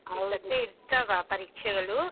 ಈ ಸರ್ತಿ ಇರ್ತಾವ ಪರೀಕ್ಷೆಗಳು.